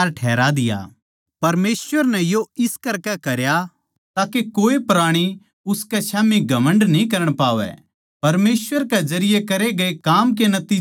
परमेसवर नै यो इस करकै करया ताके कोई जीव उसके स्याम्ही घमण्ड न्ही करण पावै